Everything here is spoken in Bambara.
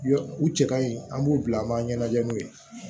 U cɛ ka ɲi an b'u bila an b'a ɲɛnajɛ n'u ye